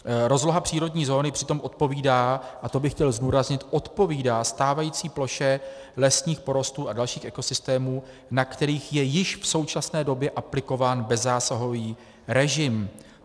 Rozloha přírodní zóny přitom odpovídá, a to bych chtěl zdůraznit, odpovídá stávající ploše lesních porostů a dalších ekosystémů, na kterých je již v současné době aplikován bezzásahový režim.